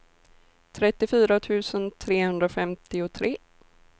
trettiofyra tusen trehundrafemtiotre